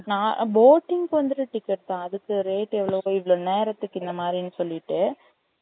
நான் boating க்கு வந்துட்டு ticket தான் அதுக்கு rate இவ்வளவு இவ்வளோ நேரத்துக்கு இந்த மாறி னு சொல்லிட்டு